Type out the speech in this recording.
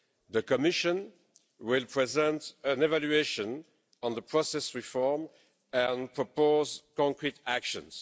The Commission will present an evaluation on the process reform and propose concrete actions.